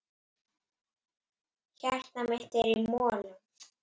Hjartað mitt er í molum.